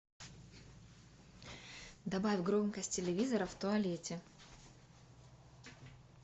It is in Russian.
добавь громкость телевизора в туалете